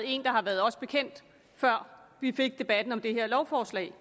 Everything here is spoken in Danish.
ikke har været os bekendt før vi fik debatten om det her lovforslag